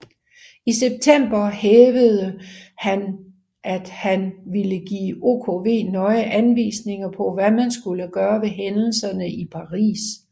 I september hævdede hanm at han ville give OKW nøje anvisninger på hvad man skulle gøre ved hændelserne i Paris